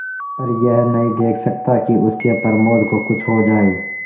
पर यह नहीं देख सकता कि उसके प्रमोद को कुछ हो जाए